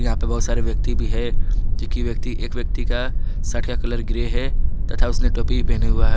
यहां पर बहुत सारे व्यक्ति भी है जो कि व्यक्ति एक व्यक्ति का सर्ट का कलर ग्रे है तथा उसने टोपी पहना हुआ है।